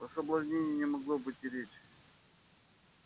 о соблазнении не могло быть и речи